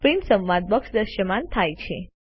print સંવાદ box દ્રશ્યમાન થાય છે